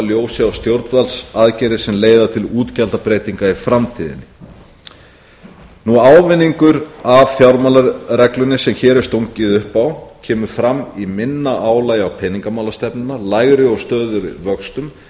ljósi á stjórnvaldsaðgerðir sem leiða til útgjaldabreytinga í framtíðinni ávinningurinn af fjármálareglunni sem hér er stungið upp á kemur fram í minna álagi á peningamálastefnuna lægri og stöðugri vöxtum